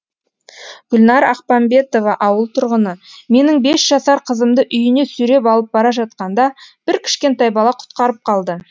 гүлнар ақпамбетова ауыл тұрғыны менің бес жасар қызымды үйіне сүйреп алып бара жатқанда бір кішкентай бала құтқарып қалды